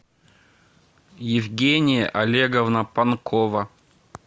евгения олеговна панкова